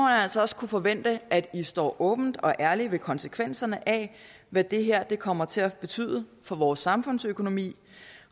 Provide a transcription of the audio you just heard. altså også kunne forvente at i står åbent og ærligt ved konsekvenserne af hvad det her kommer til at betyde for vores samfundsøkonomi